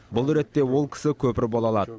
бұл ретте ол кісі көпір бола алады